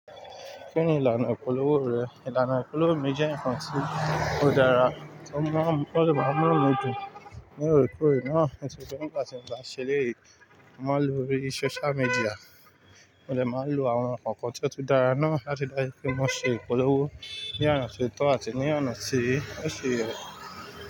Kí ni ìlànà ìpolówó rẹ? Ìlànà ìpolówó mi jẹ́ ǹkan tí ó dára, tí mo mọ̀, wọ́n lè máa mọ̀ mi dun loorekoore náà. Nítorí nígbà tí mo bá eleyi mọ́ maa n ló orí social media, mo dẹ̀ máa lo àwọn ǹkan kan tí ó tun dára náà láti dáṣẹ pé mo ń ṣe ìpolówó ní ọ̀nà tó tọ́ àti ní ọ̀nà tí ó ṣe é.